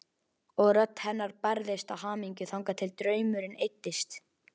Og rödd hennar bærðist af hamingju þangað til draumurinn eyddist.